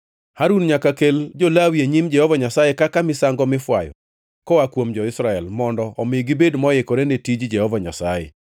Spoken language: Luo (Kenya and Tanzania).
Harun nyaka kel jo-Lawi e nyim Jehova Nyasaye kaka misango mifwayo koa kuom jo-Israel, mondo omi gibed moikore ne tij Jehova Nyasaye.